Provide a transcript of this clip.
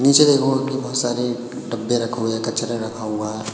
नीचे देखोगे कि बहुत सारे डब्बे रखे हुए कचरा रखा हुआ है।